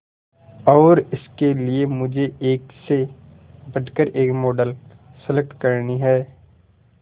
और इसके लिए मुझे एक से बढ़कर एक मॉडल सेलेक्ट करनी है